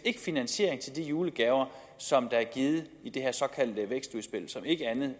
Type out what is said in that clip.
finansiering til de julegaver som der er givet i det her såkaldte vækstudspil som ikke